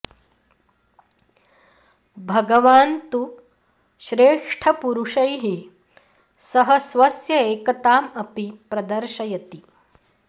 भगवान् तु श्रेष्ठपुरुषैः सह स्वस्य एकताम् अपि प्रदर्शयति